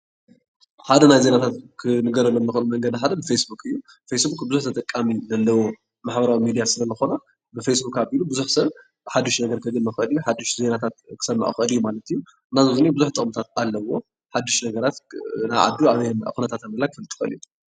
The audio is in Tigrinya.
ሓደ ናይ ዜናታት ክንገረሉ ዝክእል ሓደ ፌስቡክ እዩ ፌስቡክ ብዙሕ ተጠቃሚ ዘለዎ ማሕበራዊ ሚድያ ስለ ዝኮነ ብፌስቡክ ኣቢሉ ብዙሕ ሰብ ሓዱሽ ነገር ከግኒ ይክእል እዩ ሓዱሽ ዜናታት ክሰምዕ ይክእል እዩ ማለት እዩ እና ብዙሕ ጥቕምታት ኣለውዎ ሓዱሽ ነገራት ናይ ዓዱ ኣበይ ከም ዘላ ክፈልጥ ይክእል እዩ ።